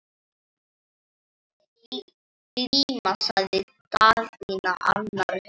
Glíma, sagði Daðína annars hugar.